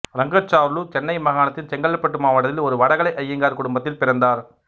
இரங்காச்சார்லு சென்னை மாகாணத்தின் செங்கல்பட்டு மாவட்டத்தில் ஒரு வடகலை ஐயங்கார் குடும்பத்தில் பிறந்தார்